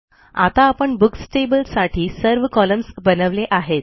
आता आपण books table साठी सर्व कॉलम्न्स बनवले आहेत